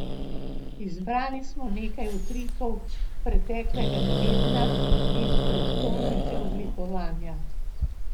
Izbrali smo nekaj utrinkov preteklega tedna iz prestolnice oblikovanja.